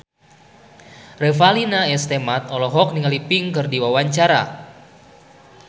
Revalina S. Temat olohok ningali Pink keur diwawancara